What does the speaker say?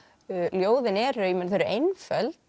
ljóðin eru einföld